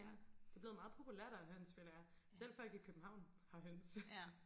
ja det er blevet meget populært og have høns føler jeg selv folk i København har høns